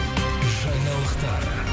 жаңалықтар